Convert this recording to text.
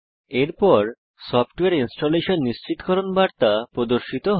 এরপর সফটওয়ারে ইনস্টলেশন নিশ্চিতকরণ বার্তা প্রদর্শিত হয়